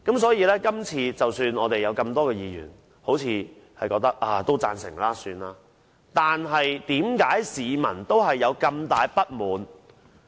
所以，即使有多位議員也似乎表示贊成，但為何市民仍大感不滿？